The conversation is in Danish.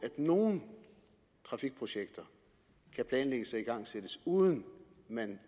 at nogle trafikprojekter kan planlægges og igangsættes uden at man